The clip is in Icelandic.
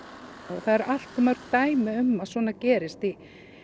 það eru allt of mörg dæmi um að svona gerist í